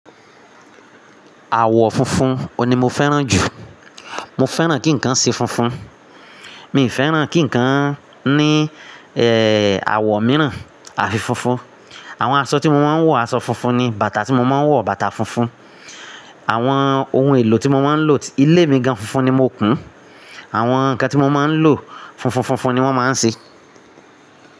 Àwọ̀ funfun òní mo fẹ́ràn jù. Mo fẹ́ràn kí ǹkan ṣe funfun. Mi ò fẹ́ràn kí ǹkan ní àwọ̀ mìíràn. Àfi funfun. Àwọn aṣọ tí mo máa ń wọ̀, aṣọ funfun ni. Bàtà tí mo máa ń wọ̀, bàtà funfun. Àwọn ohun èlò tí mo máa ń lò, ilé mi gan funfun ni mo kùn. Àwọn ǹkan tí mo máa ń lò funfun funfun ni wọ́n máa ń ṣe.